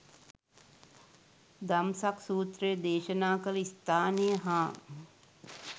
දම්සක් සූත්‍රය දේශනා කළ ස්ථානය හා